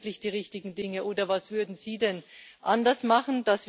Machen wir wirklich die richtigen Dinge, oder was würden Sie denn anders machen?